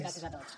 gràcies a tots